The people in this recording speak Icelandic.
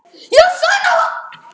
er hann dæma fer